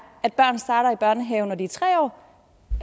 at børn starter i børnehave når de er tre år